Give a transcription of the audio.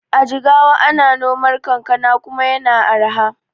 A jigawa ana nomar kankana kuma yana arha.